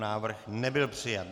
Návrh nebyl přijat.